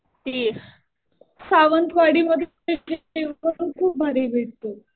ते सावंतवाडी मध्ये जेवण खूप भारी भेटतं.